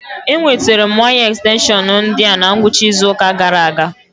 Enwetara m waya ekstenshọn ndi a na ngwụcha izu ụka gara aga